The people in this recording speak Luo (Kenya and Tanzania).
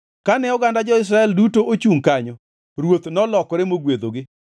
Kane oganda jo-Israel duto ochungʼ kanyo, ruoth nolokore mogwedhogi.